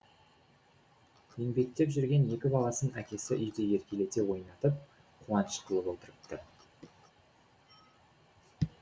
еңбектеп жүрген екі баласын әкесі үйде еркелете ойнатып қуаныш қылып отырыпты